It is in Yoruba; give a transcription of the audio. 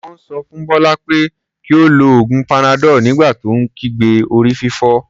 Wọ́n sọ fún Bọ́lá pé kí ó lo oògùn panadol nígbà tó ń kígbe orí-fífọ́.